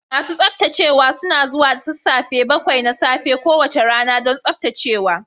Masu tsaftacewa suna zuwa da sassafe bakwai na safe kowace rana don tsaftacewa.